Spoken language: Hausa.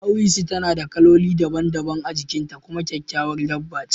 Ɗawisu tana da kaloli daban-daban a jikin ta kuma kyakkyawar dabba ce